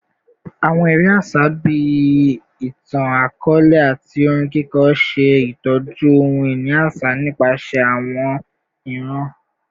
Awọn ere aṣa bii itan-akọọlẹ ati orin kiko ṣe itọju ohun-ini aṣa nipasẹ awọn iran